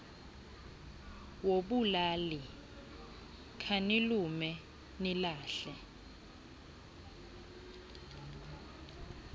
wobulali khanilume nilahla